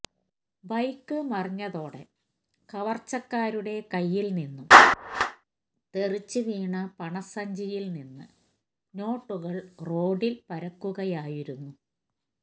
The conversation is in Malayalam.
ബൈക്ക്് മറിഞ്ഞതോടെ കവര്ച്ചക്കാരുടെ കയ്യില് നിന്നും തെറിച്ചു വീണ പണ സഞ്ചിയില് നിന്ന് നോട്ടുകള് റോഡില് പരക്കുകയായിരുന്നു